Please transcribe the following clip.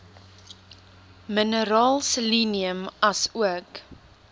mineraal selenium asook